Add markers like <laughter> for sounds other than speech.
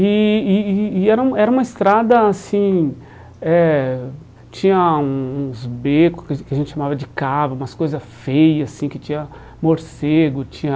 E e e e era um era uma estrada, assim, eh tinha um uns becos <unintelligible> que a gente chamava de cabo, umas coisas feia, assim, que tinha morcego, tinha...